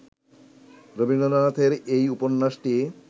রবীন্দ্রনাথের এই উপন্যাসটি